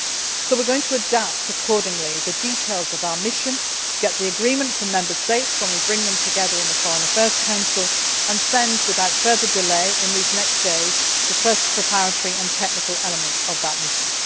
So we are going to adapt accordingly the details of our mission, get the agreement from Member States when we bring them together in the Foreign Affairs Council and send, without further delay in these next days, the first preparatory and technical elements of that mission.